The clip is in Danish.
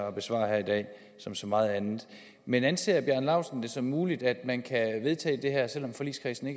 at besvare her i dag som så meget andet men anser herre bjarne laustsen det som muligt at man kan vedtage det her selv om forligskredsen